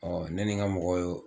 ne nin ka mɔgɔw y'o